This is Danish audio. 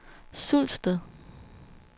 Sulsted